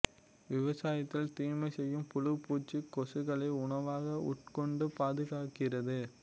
விவசாயத்தில் தீமை செய்யும் புழு பூச்சி கொசுக்களை உணவாக உட்கொண்டு பாதுகாக்கிறது